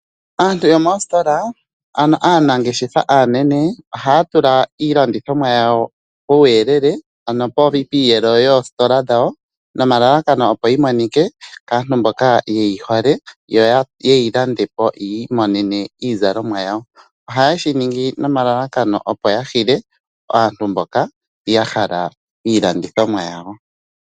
Aantu yomoositola, ano aanangeshefa aanene, ohaatula iilandithomwa yawo puuyelele ano piiyelo yoositola dhawo, nomalalakano opo yimonike kaantu mboka yeyihole yoyeyilandepo yiimonene iizalomwa yawo. Ohayeshiningi nomalalakano opo yahile aantu mboka yahala iilandithomwa yawo.